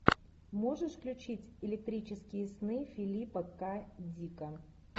можешь включить электрические сны филипа к дика